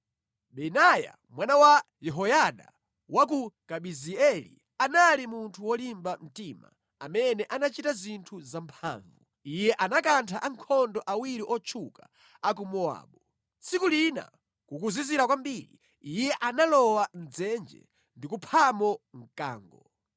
Benaya mwana wa Yehoyada wa ku Kabizeeli anali munthu wolimba mtima amene anachita zinthu zamphamvu. Iye anakantha ankhondo awiri otchuka a ku Mowabu. Tsiku lina kukuzizira kwambiri, iye analowa mʼdzenje ndi kuphamo mkango.